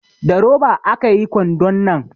Da roba aka yi kwandon nan